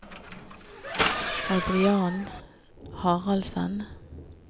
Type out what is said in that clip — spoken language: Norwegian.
Adrian Haraldsen